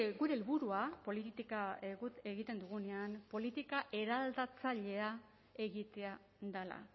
gure helburua politika egiten dugunean politika eraldatzailea egitea dela